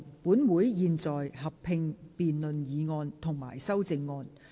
本會現在合併辯論議案及修正案。